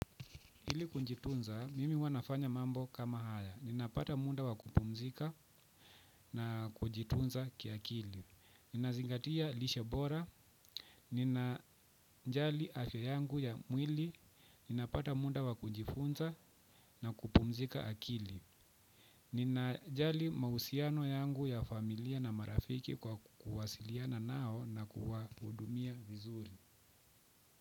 Ili kujitunza, mimi huwa nafanya mambo kama haya. Ninapata muda wa kupumzika na kujitunza ki akili. Ninazingatia lishe bora, ninajali afya yangu ya mwili ninapata muda wa kujifunza na kupumzika akili. Ninajali mahusiano yangu ya familia na marafiki kwa kuwasiliana nao na kuwahudumia vizuri.